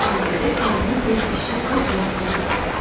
Bu ailədə hərənin öz işi, öz vəzifəsi var.